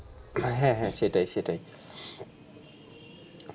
হ্যাঁ হ্যাঁ সেটাই সেটাই,